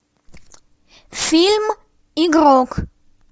фильм игрок